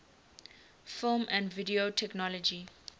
film and video technology